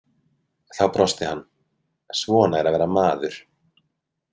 Þá brosti hann: Svona er að vera maður.